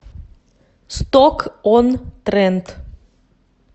сток он трент